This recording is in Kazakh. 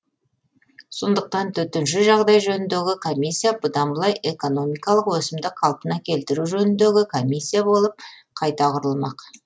сондықтан төтенше жағдай жөніндегі комиссия бұдан былай экономикалық өсімді қалпына келтіру жөніндегі комиссия болып қайта құрылмақ